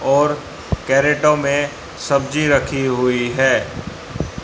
और कैरेटो में सब्जी रखी हुई है।